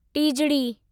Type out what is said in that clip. टीजिड़ी